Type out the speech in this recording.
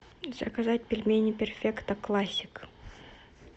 заказать пельмени перфекто классик